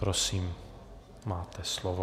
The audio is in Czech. Prosím, máte slovo.